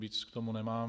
Víc k tomu nemám.